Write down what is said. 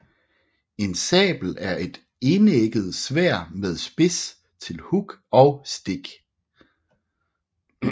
En sabel er et enægget sværd med spids til hug og stik